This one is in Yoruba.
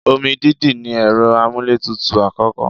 Omi dídì ní ẹ̀rọ amúlétutù àkọ́kọ́.